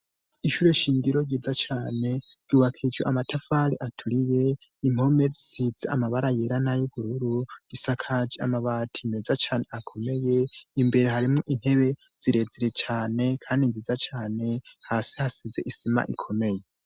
Isyure shingiro ryiza cane ryubakiryo amatafari aturiye impomerisitse amabara yerana y'ubururu isakaje amabati meza cyane akomeye imbere harimo intebe zirezire cyane kandi nziza cyane hasi hasize isima ikomeye.